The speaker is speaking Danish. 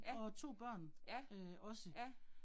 Ja, ja, ja